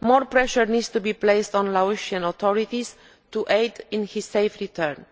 More pressure needs to be placed on the Laotian authorities to aid his safe return.